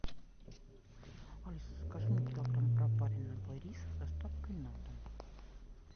алиса закажи мне килограмм пропаренного риса с доставкой на дом